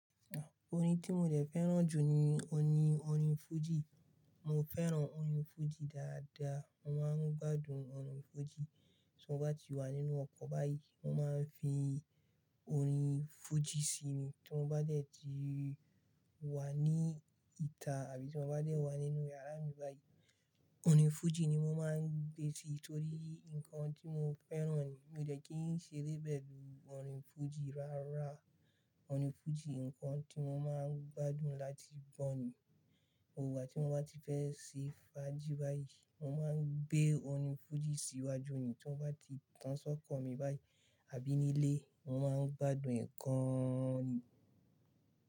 Orin tí mo dé fẹ́ràn jù ni orin, orin fújì. Mo fẹ́ràn orin fújì dáadáa. Mo máa ń gbádùn orin fújì tí mo bá ti wà nínú ọkọ̀ báyìí mo máa ń fi orin fújì sí mi tí mo bá dé ti wà ní ìta àbí tí mo bá dé wà nínú yàrá mi báyìí, orin fújì ni mo máa ń gbé sí torí nǹkan tí mo fẹ́ràn ni. Mi ò dé kí n ṣe rébẹ̀ bí i orin fújì rárá. Orin fújì nǹkan tí mo máa ń gbádùn láti gbọ̀ ni. Gboigba tí mo bá ti fẹ́ ṣe fàájì báyìí, mo máa ń gbé orin fújì sí iwájú ni tí mo bá ti tán sọ́kọ̀ mi báyìí àbí nílé, mo máa ń gbádùn e gan ni.